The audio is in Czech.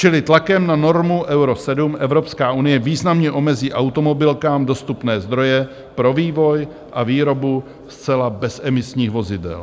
Čili tlakem na normu Euro 7 Evropská unie významně omezí automobilkám dostupné zdroje pro vývoj a výrobu zcela bezemisních vozidel.